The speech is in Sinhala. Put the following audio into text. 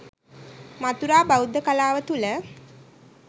මථුරා බෞද්ධ කලාව තුළ